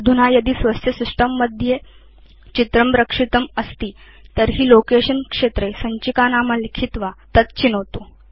अधुना यदि स्वस्य सिस्टम् मध्ये चित्रं रक्षितम् अस्ति तर्हि लोकेशन क्षेत्रे सञ्चिकानाम लिखित्वा तत् चिनोतु